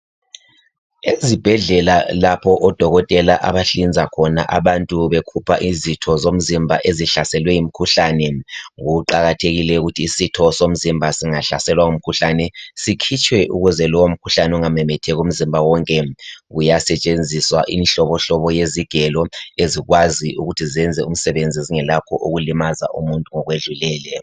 Ezibhedlela lapho odokotela abahlinza khona abantu bekhupha izitho zomzimga ezihlaselwe ngumkhuhlane. Kuqakathekile ukuthi isitho somzimba singahlaselwa ngumkhuhlahe sikhitshwe , ukuze lowomkhuhlane ungamemetheki, umzimba wonke. Kuyasetshenziswa imihlobohlobo, yezigelo, ezilkwazi ukuthi zenze umsebenzi, zingelakho ukuthi zilimaze umuntu ngokwedlulile.